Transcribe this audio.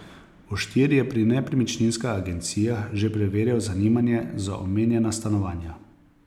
Oštir je pri nepremičninskih agencijah že preverjal zanimanje za omenjena stanovanja.